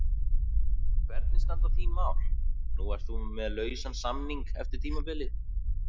Hvernig standa þín mál, nú ert þú með lausan samning eftir tímabilið?